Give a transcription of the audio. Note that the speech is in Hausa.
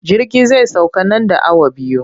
Jirgi zai sauka nan da awa biyu.